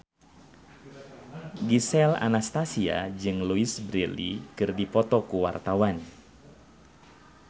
Gisel Anastasia jeung Louise Brealey keur dipoto ku wartawan